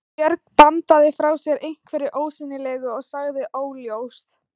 Björg bandaði frá sér einhverju ósýnilegu og sagði: Óljóst.